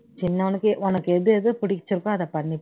சின்னவனுக்கு உனக்கு எதுஎது பிடிச்சிருக்கோ அதை பண்ணு